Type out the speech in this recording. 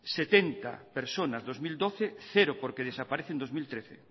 setenta personas dos mil doce cero porque desaparece en dos mil trece